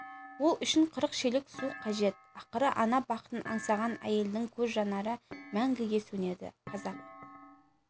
ол үшін қырық шелек су қажет ақыры ана бақытын аңсаған әйелдің көз жанары мәңгіге сөнеді қазақ